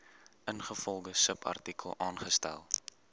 ingevolge subartikel aangestel